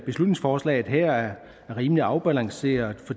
beslutningsforslaget her er rimelig afbalanceret